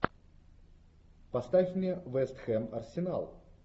поставь мне вест хэм арсенал